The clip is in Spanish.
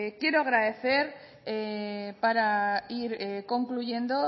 quiero agradecer para ir concluyendo